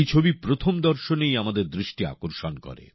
এই ছবি প্রথম দর্শনেই আমাদের দৃষ্টি আকর্ষণ করে